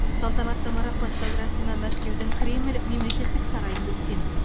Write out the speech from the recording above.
салтанатты марапаттау рәсімі мәскеудің кремль мемлекеттік сарайында өткен